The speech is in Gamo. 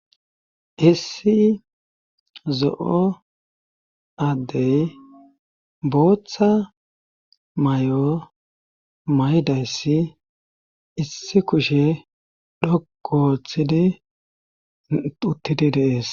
issi zo7o addey booththa may7o maydayssi issi kushe dhoko ooththidi uttidi deees